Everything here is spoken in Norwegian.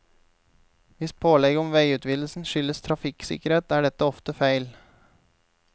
Hvis pålegget om veiutvidelsen skyldes trafikksikkerhet, er dette ofte feil.